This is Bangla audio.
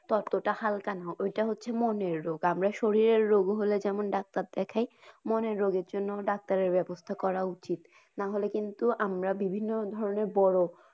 ততটা হালকা নয়। ওইটা হচ্ছে মনের রোগ। আমরা শরীরের রোগ হলে যেমন doctor দেখাই মনের রোগের জন্যেও doctor ব্যাবস্থা করা উচিত। নাহলে কিন্তু আমরা বিভিন্ন ধরনের বড়ো।